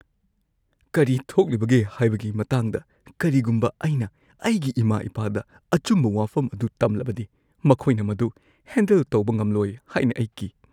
ꯀꯔꯤ ꯊꯣꯛꯂꯤꯕꯒꯦ ꯍꯥꯏꯕꯒꯤ ꯃꯇꯥꯡꯗ ꯀꯔꯤꯒꯨꯝꯕ ꯑꯩꯅ ꯑꯩꯒꯤ ꯏꯃꯥ-ꯏꯄꯥꯗ ꯑꯆꯨꯝꯕ ꯋꯥꯐꯝ ꯑꯗꯨ ꯇꯝꯂꯕꯗꯤ, ꯃꯈꯣꯏꯅ ꯃꯗꯨ ꯍꯦꯟꯗꯜ ꯇꯧꯕ ꯉꯝꯂꯣꯏ ꯍꯥꯏꯅ ꯑꯩ ꯀꯤ꯫